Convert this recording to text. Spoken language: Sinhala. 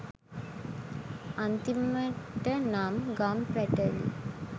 අන්තිමට නම් ගම් පැටලී